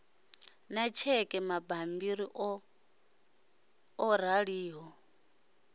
na tsheke mabammbiri o raliho